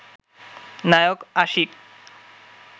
Naik Ashiq